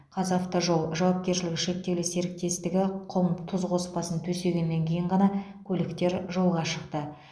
қазавтожол жауапкершілігі шектеулі серіктестігі құм тұз қоспасын төсегеннен кейін ғана көліктер жолға шықты